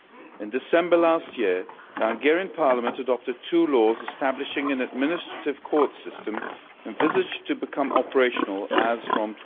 In December last year, the Hungarian Parliament adopted two laws establishing an administrative court system envisaged to become operational as from